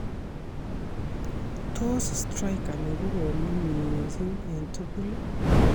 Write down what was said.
Tos striker nekorom ni missing eng tugul?